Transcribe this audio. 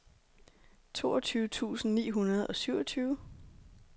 toogtyve tusind ni hundrede og syvogtyve